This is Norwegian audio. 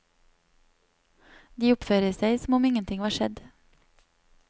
De oppfører seg som om ingenting var skjedd.